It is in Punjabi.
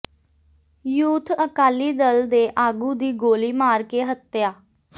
ਯੂਥ ਅਕਾਲੀ ਦਲ ਦੇ ਆਗੂ ਦੀ ਗੋਲ਼ੀ ਮਾਰ ਕੇ ਹੱਤਿਆ